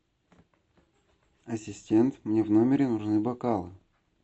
ассистент мне в номере нужны бокалы